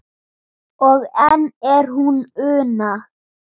og enn er hún Una